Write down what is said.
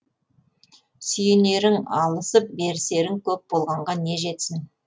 сүйенерің алысып берісерің көп болғанға не жетсін